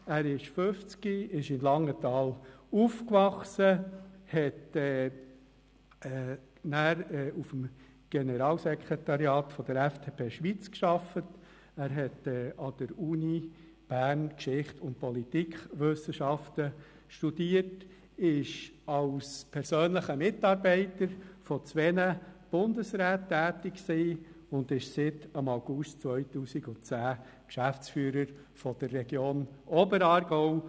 Er ist 50 Jahre alt, in Langenthal aufgewachsen, hat nachher auf dem Generalsekretariat der FDP Schweiz gearbeitet, an der Universität Bern Geschichte und Politikwissenschaften studiert, war als persönlicher Mitarbeiter zweier Bundesräte tätig und ist seit August 2010 Geschäftsführer der «Region Oberaargau».